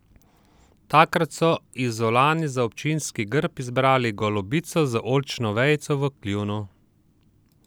Takrat so Izolani za občinski grb izbrali golobico z oljčno vejico v kljunu.